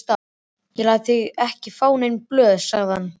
Ég læt þig ekki fá nein blöð, sagði hann.